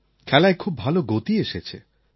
খেলায় খুব ভাল গতি এসেছে